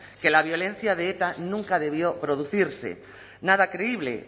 que la violencia de eta nunca debió producirse nada creíble